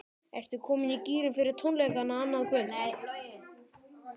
Ertu komin í gírinn fyrir tónleikana annað kvöld?